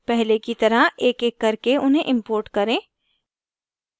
पहले की तरह एकएक करके उन्हें import करें